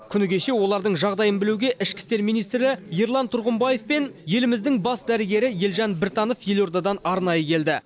күні кеше олардың жағдайын білуге ішкі істер министрі ерлан тұрғымбаев пен еліміздің бас дәрігері елжан біртанов елордадан арнайы келді